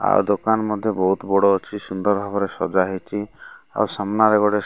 ଆଉ ଦୋକାନ ମଧ୍ୟ ବହୁତ ବଡ଼ ଅଛି ସୁନ୍ଦର ଭାବରେ ସଜ୍ଜା ହେଇଚି ଆଉ ସାମ୍ନାରେ ଗୋଟେ --